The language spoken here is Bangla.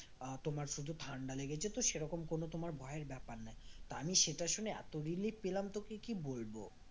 আহ তোমার শুধু ঠান্ডা লেগেছে তো সেরকম কোনো তোমার ভয়ের ব্যাপার নেই তো আমি সেটা শুনে এত relief পেলাম তোকে কি বলবো